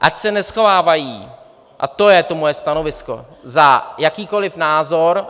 Ať se neschovávají, a to je to moje stanovisko, za jakýkoliv názor.